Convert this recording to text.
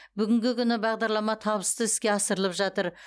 бүгінгі күні бағдарлама табысты іске асырылып жатыр